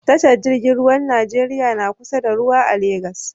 Tashar jingin ruwar nigeria na kusa da ruwa a lagos